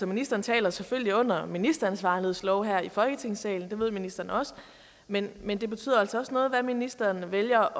ministeren taler selvfølgelig under ministeransvarlighedsloven her i folketingssalen det ved ministeren også men men det betyder altså også noget hvad ministeren vælger